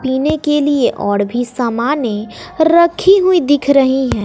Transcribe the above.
पीने के लिए औड़ भी सामाने रखी हुई दिख रही हैं।